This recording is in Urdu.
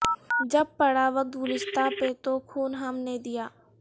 جب پڑا وقت گلستاں پہ تو خون ہم نے دیا